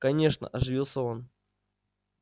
конечно оживился он